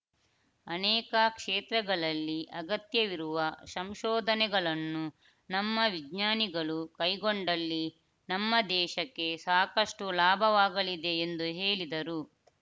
ಅನೇಕ ಕ್ಷೇತ್ರಗಳಲ್ಲಿ ಅಗತ್ಯವಿರುವ ಸಂಶೋಧನೆಗಳನ್ನು ನಮ್ಮ ವಿಜ್ಞಾನಿಗಳು ಕೈಗೊಂಡಲ್ಲಿ ನಮ್ಮ ದೇಶಕ್ಕೆ ಸಾಕಷ್ಟುಲಾಭವಾಗಲಿದೆ ಎಂದು ಹೇಳಿದರು